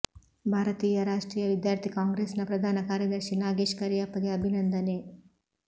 ಭಾರತೀಯ ರಾಷ್ಟ್ರೀಯ ವಿದ್ಯಾರ್ಥಿ ಕಾಂಗ್ರೆಸ್ಸಿನ ಪ್ರಧಾನ ಕಾರ್ಯದರ್ಶಿ ನಾಗೇಶ್ ಕರಿಯಪ್ಪಗೆ ಅಭಿನಂದನೆ